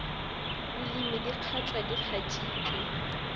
bolemi di kgatšwa di kgatšitšwe